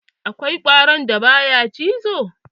Akwai ƙwaron da ba ya cizo?